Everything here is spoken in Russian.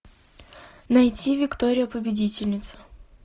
найти виктория победительница